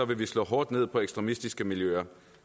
vil vi slå hårdt ned på ekstremistiske miljøer